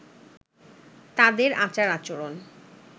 তাঁদের আচার-আচরণ